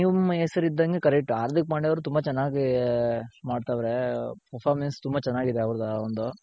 ನಿಮ್ ಹೆಸರ್ಇದ್ದಂಗೆ correct ಹಾರ್ದಿಕ್ ಪಾಂಡೆ ಅವ್ರ್ ತುಂಬ ಚೆನ್ನಾಗಿ ಮಾಡ್ತಾರೆ performance ತುಂಬ ಚೆನ್ನಾಗಿದೆ ಅವ್ರ್ದ ಒಂದು.